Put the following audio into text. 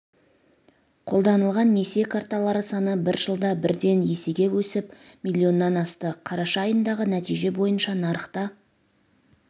қолданылған несие карталары саны бір жылда бірден есеге өсіп миллионнан асты қараша айындағы нәтиже бойынша нарықта